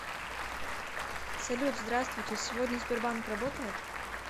салют здравствуйте сегодня сбербанк работает